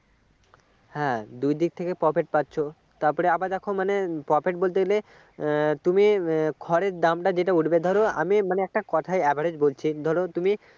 হ্যাঁ দুই দিক থেকে profit পাচ্ছ তারপরে আবার দেখ মানে profit বলতে গেলে উম তুমি উম খড়ের দাম যেটা উঠবে ধরো আমি একটা কথা average বলছি ধরো তুমি